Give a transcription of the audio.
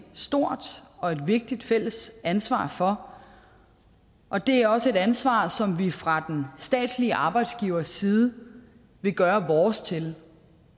stort og vigtigt fælles ansvar for og det er også et ansvar som vi fra den statslige arbejdsgiverside vil gøre vores til